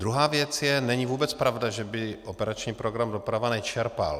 Druhá věc je, není vůbec pravda, že by operační program Doprava nečerpal.